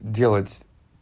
делать